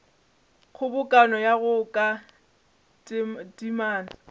kgobokano go ya ka temana